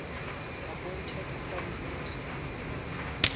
appointed prime minister